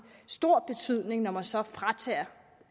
stor betydning når man så fratager